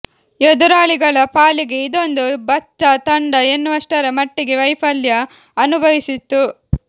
ಎದುರಾಳಿಗಳ ಪಾಲಿಗೆ ಇದೊಂದು ಬಚ್ಚಾ ತಂಡ ಎನ್ನುವಷ್ಟರ ಮಟ್ಟಿಗೆ ವೈಫಲ್ಯ ಅನುಭವಿಸಿತ್ತು